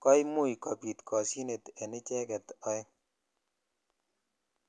(puse)ko imuch kobi koshinet en icheget oeng